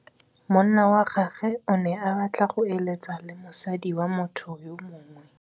Monna wa gagwe o ne a batla go êlêtsa le mosadi wa motho yo mongwe.